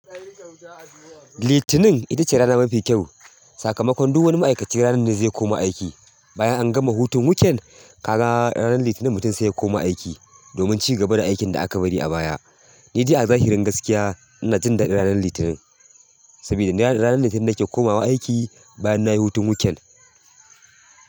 Litinin ita ce rana mafi kyau. Sakamakon duk wani ma'aikaci ranar ne zai koma aiki. Bayan an gama hutun weekend, ka ga ranar Litinin mutum sai ya koma aiki domin cigaba da aikin da aka bari a baya. Ni dai a zahirin gaskiya ina jin daɗin ranar Litinin sabida ni ranar Litinin nake komawa aiki bayan nayi hutun weekend.